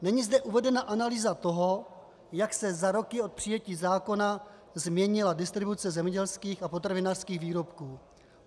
Není zde uvedena analýza toho, jak se za roky od přijetí zákona změnila distribuce zemědělských a potravinářských výrobků.